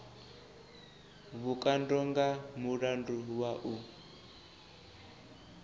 vhukando nga mulandu wa u